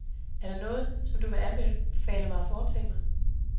Er der noget, som du vil anbefale mig at foretage?